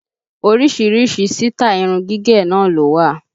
Orísìírísìí sítáì irun gígẹ̀ náà ló wà